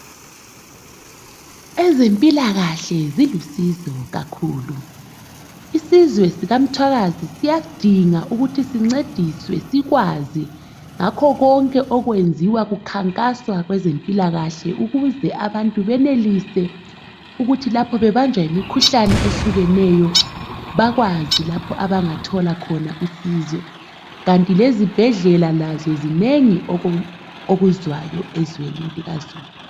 Ezempilakahle zilusizo kakhulu. Isizwe sika Mthwakazi siyadinga ukuthi sincediswe sikwazi ngakho konke okwenziwa kukhankaswa ngezempilakahle ukuze abantu benelise ukuthi lapho bebanjwa yimikhuhlane ehlukeneyo bakwazi lapho abangathola khona usizo. Kanti lezibhedlela lazo zinengi okuzwayo ezweni likazulu.